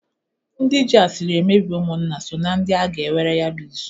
Ndị jị asiri emebi ụmụnna so na ndị a ga enwere ya bụ izu.